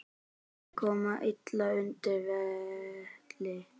Vegir koma illa undan vetri.